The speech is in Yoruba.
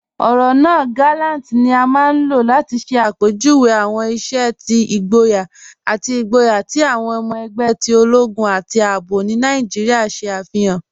Ọrọ naa "gàlàntì" ni a maa n lọ́ láti ṣẹ̀ apẹjúwé awọn iṣẹ̀ ti igbóyà ati igbóyà ti awọn ọmọ ẹgbẹ̀ ti ologun ati ààbò ni Naijíríà ṣe afihan.